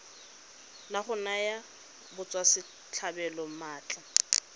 la go naya batswasetlhabelo maatla